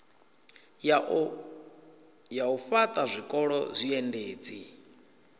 ya u fhaṱha zwikolo zwiendedzi